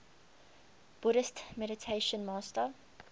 buddhist meditation master